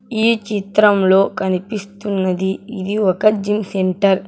ఈ చిత్రంలో కనిపిస్తున్నది ఇది ఒక జిమ్ సెంటర్ .